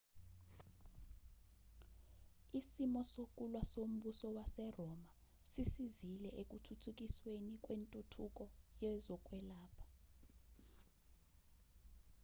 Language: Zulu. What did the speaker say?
isimo sokulwa sombusa waseroma sisizile ekuthuthukisweni kwentuthuko yezokwelapha